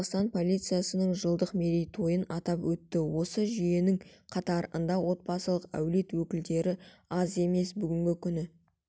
қазақстан полициясының жылдық мерейтойын атап өтті осы жүйенің қатарында отбасылық әулет өкілдері аз емес бүгінгі күні